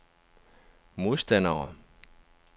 modstandere